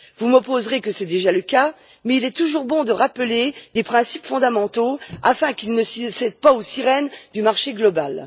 Vous m'opposerez que c'est déjà le cas, mais il est toujours bon de rappeler des principes fondamentaux afin qu'ils ne cèdent pas aux sirènes du marché global.